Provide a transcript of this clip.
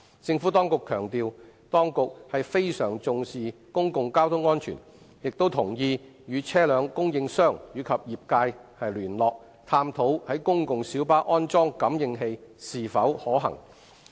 政府當局強調，當局非常重視公共交通安全，亦同意與車輛供應商及業界聯絡，探討在公共小巴安裝感應器是否可行。